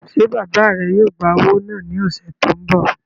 Ṣé bàbá rẹ yóò gbá owó náà ní ọ̀sẹ̀ tó n bọ̀?